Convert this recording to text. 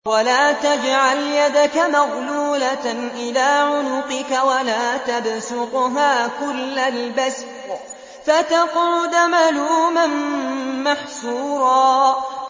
وَلَا تَجْعَلْ يَدَكَ مَغْلُولَةً إِلَىٰ عُنُقِكَ وَلَا تَبْسُطْهَا كُلَّ الْبَسْطِ فَتَقْعُدَ مَلُومًا مَّحْسُورًا